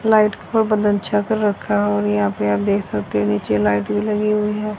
Light को बंद अच्छा कर रखा है और यहां पे आप देख सकते हो नीचे लाइट भी लगी हुई है।